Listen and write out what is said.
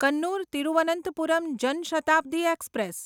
Kannur Thiruvananthapuram Jan Shatabdi express